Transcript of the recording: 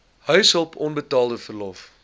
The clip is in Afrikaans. huishulp onbetaalde verlof